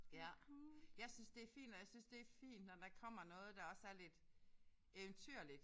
Ja. Jeg synes det er fint og jeg synes det er fint når der kommer noget der også er lidt eventyrligt